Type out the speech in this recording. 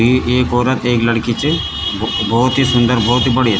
ई एक औरत एक लड़की च भो भौत ही सुन्दर भौत ही बढ़िया।